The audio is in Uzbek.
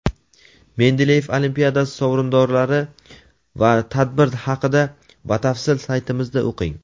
Mendeleyev olimpiadasi sovrindorlari va tadbir haqida batafsil saytimizda o‘qing.